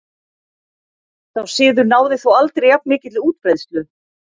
Sá siður náði þó aldrei jafn mikilli útbreiðslu.